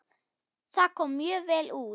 Það kom mjög vel út.